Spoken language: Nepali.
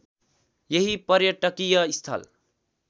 यही पर्यटकीय स्थल